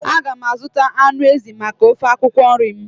A ga m azụta anụ ezi maka ofe akwụkwọ nri m.